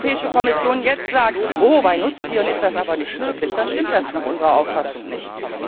Und wenn die Europäische Kommission jetzt sagt Oh, bei Nutztieren ist das aber nicht möglich, dann stimmt das nach unserer Auffassung nicht.